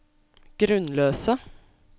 grunnløse